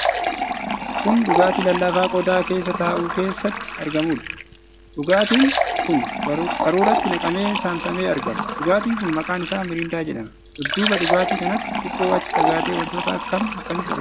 Kun dhugaatii laallaafaa qodaa keeessa taa'u keessatti argamuudha. Dhugaatiin kun qaruuraatti naqamee saamsamee argama. Dhugaatiin kun maqaan isaa "Miriindaa" jedhama. Dudduuba dhugaatii kanaatti xiqqoo achi fagaatee wantoota akkam akkamiitu argama?